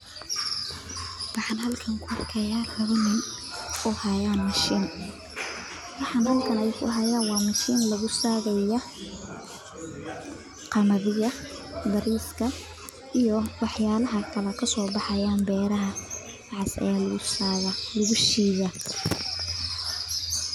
Waxan halkan kuarkaya lawa nin oo hayan mashin waxee halkan kuhayan waa mashin lagu sareya qamadiga bariska iyo waxyalaha kale kaso baxayan beeraha waxas aya lagu shida.